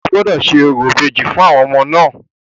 O gbọ́dọ̀ ṣe orò ìbejì fún àwọn ọmọ náà!